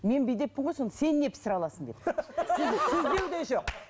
мен бүйдеппін ғой сонда сен не пісіре аласың деп сіз сіз деу де жоқ